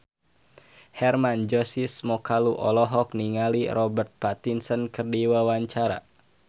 Hermann Josis Mokalu olohok ningali Robert Pattinson keur diwawancara